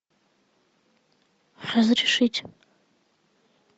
разрешить